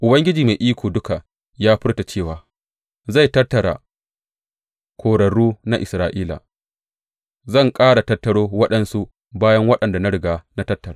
Ubangiji Mai Iko Duka ya furta cewa, zai tattara korarru na Isra’ila, Zan ƙara tattaro waɗansu bayan waɗanda na riga na tattara.